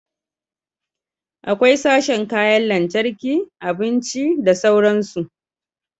Akwai sashen kayan lantarki, abinci da sauransu